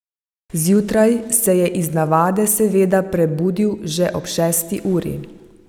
Zjutraj se je iz navade seveda prebudil že ob šesti uri.